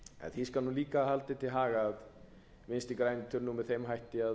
því skal líka haldið til haga að vinstri grænir töluðu með þeim hætti að